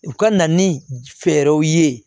U ka na ni fɛɛrɛw ye